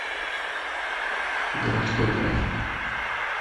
городской трафик